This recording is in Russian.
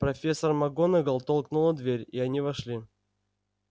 профессор макгонагалл толкнула дверь и они вошли